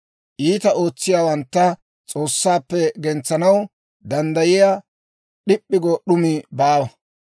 Iitaa ootsiyaawantta S'oossaappe gentsanaw danddayiyaa d'ip'p'i go d'umi baawa.